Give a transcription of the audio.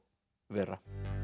Vera